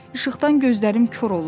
İşıqdan gözlərim kor olur.